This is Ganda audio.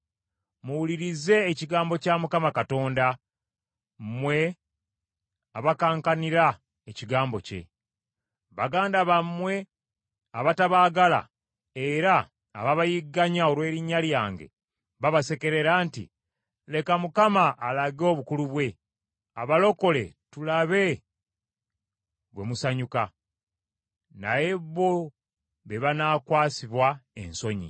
Muwulirize ekigambo kya Mukama Katonda mmwe abakankanira ekigambo kye. “Baganda bammwe abatabaagala era ababayigganya olw’erinnya lyange babasekerera nti, ‘Leka Mukama alage obukulu bwe abalokole tulabe bwe musanyuka!’ Naye bo be banaakwasibwa ensonyi.